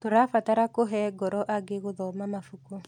Tũrabatara kũhe ngoro angĩ gũthoma mabuku.